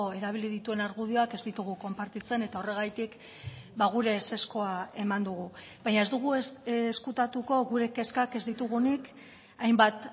erabili dituen argudioak ez ditugu konpartitzen eta horregatik gure ezezkoa eman dugu baina ez dugu ezkutatuko gure kezkak ez ditugunik hainbat